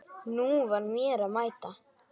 Nú var mér að mæta!